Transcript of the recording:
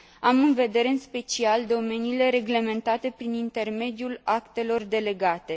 Am în vedere, în special, domeniile reglementate prin intermediul actelor delegate.